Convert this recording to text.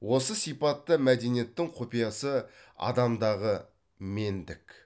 осы сипатта мәдениеттің құпиясы адамдағы мендік